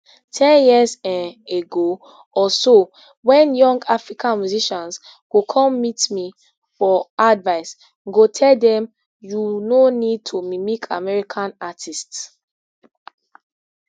ten years um ago or so wen young african musicians go come meet me for advice go tell dem you no need to mimic american artists